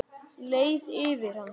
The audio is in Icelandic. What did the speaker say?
Leið yfir hann?